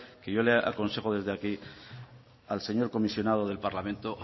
que yo le aconsejo desde aquí al señor comisionado del parlamento